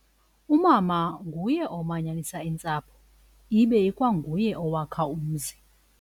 Umama nguye omanyanisa iintsapho ibe ikwanguye owakha umzi.